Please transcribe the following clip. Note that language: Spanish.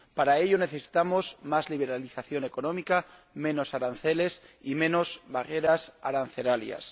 para ello, necesitamos más liberalización económica, menos aranceles y menos barreras arancelarias.